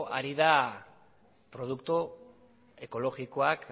ari da produktu ekologikoak